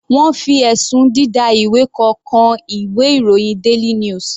Wọ́n fi ẹ̀sùn dida ìwé kọ kan ìwé ìròyìn daily news.